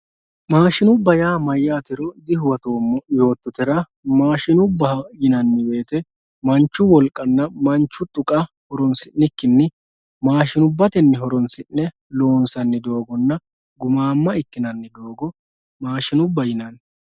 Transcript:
maashinubba yaa mayyaatero dihuwatoommo yoottotera maashinubba yinanni woyiite mannu wolqanna manchu dhuka horonsi'nikkinni maashinubba horonsi'ne loonsanninna gumaamma ikkinanni doogo maashinubba yinanni